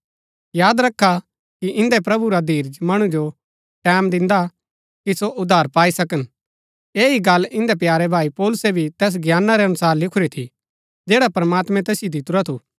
याद रखा कि इन्दै प्रभु रा धीरज मणु जो टैमं दिन्दा कि सो उद्धार पाई सकन ऐह ही गल्ल इन्दै प्यारे भाई पौलुसै भी तैस ज्ञाना रै अनुसार लिखुरी थी जैड़ा प्रमात्मैं तैसिओ दितुरा थू